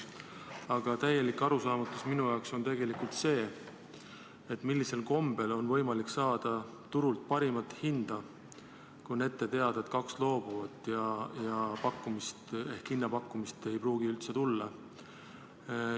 Aga täiesti arusaamatu minu jaoks on tegelikult see, millisel kombel on võimalik saada turult parimat hinda, kui on ette teada, et kaks kandidaati loobuvad pakkumast ehk hinnapakkumist ei pruugi üldse tulla.